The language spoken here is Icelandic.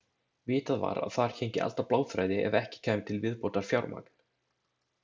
Vitað var að þar héngi allt á bláþræði ef ekki kæmi til viðbótarfjármagn.